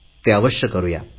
ते अवश्य करुया